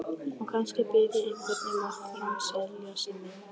Og kannski bið ég einhvern um að framselja mig.